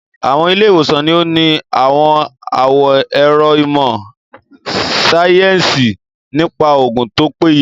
Àwọn ilé-ìwòsàn ní òní ní àwọn àwọn ẹ̀ro ìmọ̀ síáyẹ́nsì nípa oògùn tó péye